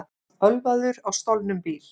Ölvaður á stolnum bíl